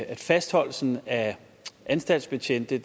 at fastholdelsen af anstaltsbetjente